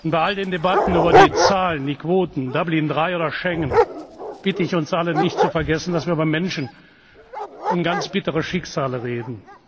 Bei all den Debatten über die Quoten, Dublin III oder Schengen bitte ich uns alle, nicht zu vergessen, dass wir über Menschen und ganz bittere Schicksale reden.